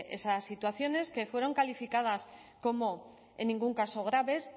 esas situaciones que fueron calificadas como en ningún caso graves